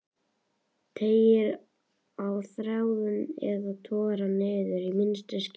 Teygir á þræðinum eða togar hann niður í minnstu skímu?